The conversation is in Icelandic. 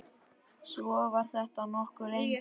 Svona var þetta nokkuð lengi.